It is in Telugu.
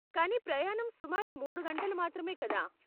కానీ ప్రయాణం సుమారు మూడు గంటలు మాత్రమే కదా.